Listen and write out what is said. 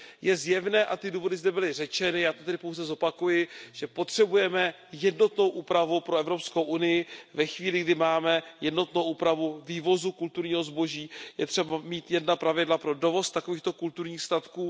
Je zjevné a ty důvody zde byly řečeny, já to tedy pouze zopakuji, že potřebujeme jednotnou úpravu pro Evropskou unii ve chvíli, kdy máme jednotnou úpravu vývozu kulturního zboží, je třeba mít jedna pravidla pro dovoz takovýchto kulturních statků.